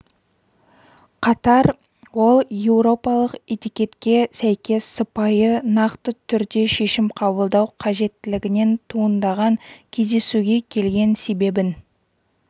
қатар ол еуропалық этикетке сәйкес сыпайы нақты түрде шешім қабылдау қажеттілігінен туындаған кездесуге келген себебін